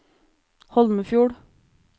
Holmefjord